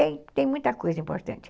E tem tem muita coisa importante.